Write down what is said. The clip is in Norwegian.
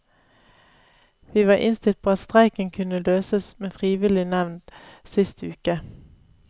Vi var innstilt på at streiken kunne løses med frivillig nevnd sist uke.